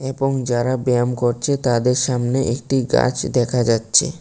এবং যারা ব্যায়াম করছে তাদের সামনে একটি গাছ দেখা যাচ্ছে।